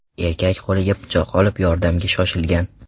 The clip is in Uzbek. Erkak qo‘liga pichoq olib, yordamga shoshilgan.